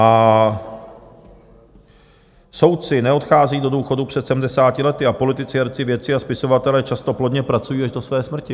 A soudci neodchází do důchodu před 70. lety a politici, herci, vědci a spisovatelé často plodně pracují až do své smrti.